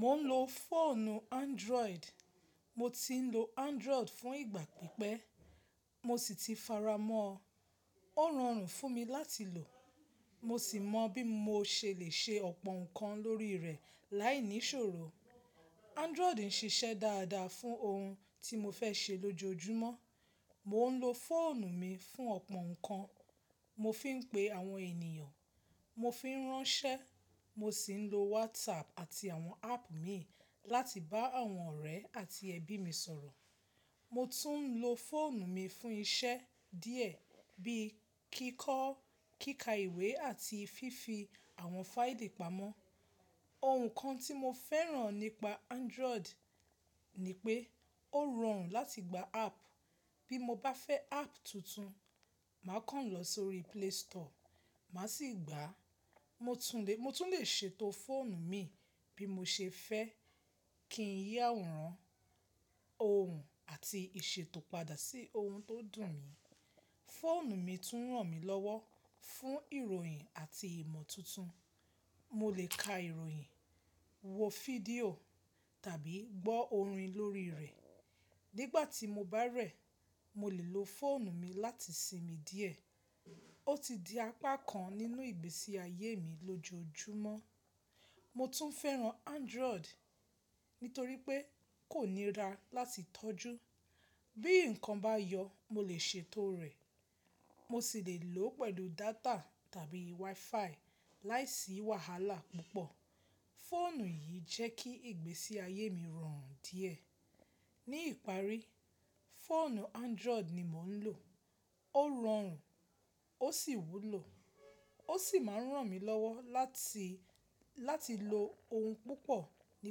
Mo ń lo fóònù Android. Mo ti ń lo Android fún ìgbà pípẹ́. Mo sì ti faramọ́. Ó rọrùn fún mi láti lò. Mo sì mọ̀ bí mo ṣe lè ṣe ọ̀pọ̀ nǹkan lórí rẹ̀ láìní ṣòro. Android ń ṣiṣẹ́ dáadáa fún ohun tí mo fẹ́ ṣe lójoojúmọ́. Mo ń lo fóònù mi fún ọ̀pọ̀ ǹkan. Mo fi ń pe àwọn ènìyàn, mo fi ń ránṣẹ́, mo sì ń lo WhatsApp àti àwọn app míì láti bá àwọn ọ̀rẹ́ àti ẹbí mi sọ̀rọ̀. Mo tún ń lo fóònù mi fún iṣẹ́ díẹ̀ bíi kíkọ, kíka ìwé àti fífi àwọn fáìlì pamọ́. Ohun kan tí mo fẹ́ràn nípa Android ni pé ó rọrùn láti gba app. Bí mo bá fẹ́ app tuntun, mà kàn lọ sí orí Play Store, mà sì gba. Mo tún lè ṣètò fóònù mi bí mo ṣe fẹ́ kín yí àwòrán, ohun àti ìṣètò padà sí ohun tó dùn ni. Fóònù mi tún ràn mí lọ́wọ́ fún ìròyìn àti ìmọ̀ tuntun. Mo lè ka ìròyìn, wo fídíò tàbí gbọ́ orin lórí rẹ̀. Nígbàtí mo bá rẹ̀, mo lè lo fóònù mi láti sinmi díẹ̀. Ó ti di apákan nínú ìgbésí ayé mi lójoojúmọ́. Mo tún fẹ́ràn Android nítorí pé kò nira láti tọ́jú. Bí ǹkan bá yọ, mo lè ṣètò rẹ̀. Mo sì lè lo pẹ̀lú dátà tàbí WiFi láìsí wàhálà púpọ̀. Fóònù yìí jẹ́ kí ìgbésí ayé mi rọrùn díẹ̀. Ní ìparí, fóònù Android ni mo ń lo. Ó rọrùn, ó sì wúlò. Ó sì ma ń ràn mí lọ́wọ́ láti, láti lo ohun púpọ̀ ní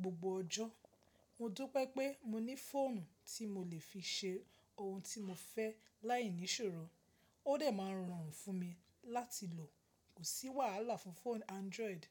gbogbo ọjọ́. Mo dún pé pé mo ní fóònù tí mo lè fi ṣe ohun tí mo fẹ́ láìní ṣòro. Ó dẹ̀ ma ń rọrùn fún mi láti lò. Kò sí wàhálà fún fóònù Android.